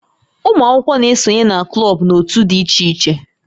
Ụmụ akwụkwọ na-esonye na klọb na òtù dị iche iche